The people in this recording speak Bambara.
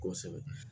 Kosɛbɛ